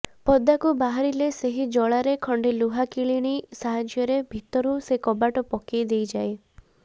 ପଦାକୁ ବାହାରିଲେ ସେହି ଜଳାରେ ଖଣ୍ଡେ ଲୁହା କିଳିଣୀ ସାହାଯ୍ୟରେ ଭିତରୁ ସେ କବାଟ ପକାଇ ଦେଇଯାଏ